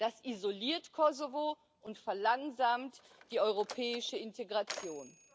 Das isoliert Kosovo und verlangsamt die europäische Integration.